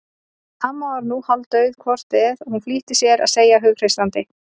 Amma var nú hálfdauð hvort eð var flýtti hún sér að segja hughreystandi.